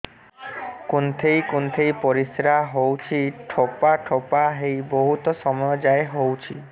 କୁନ୍ଥେଇ କୁନ୍ଥେଇ ପରିଶ୍ରା ହଉଛି ଠୋପା ଠୋପା ହେଇ ବହୁତ ସମୟ ଯାଏ ହଉଛି